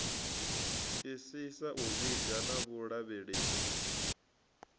isisa u vhiga na vhulavhelesi